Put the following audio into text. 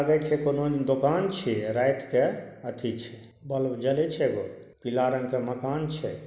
लगय छै कोनो दोकान छीये रात के अथि छै बल्ब जलय छै एगो पीला रंग के मकान छै।